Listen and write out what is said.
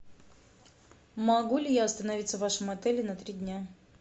могу ли я остановиться в вашем отеле на три дня